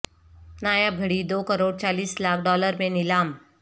نایاب گھڑی دو کروڑ چالیس لاکھ ڈالر میں نیلام